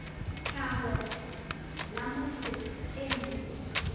tlhaho la motho e mong